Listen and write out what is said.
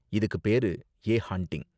இதுக்கு பேரு 'a haunting'.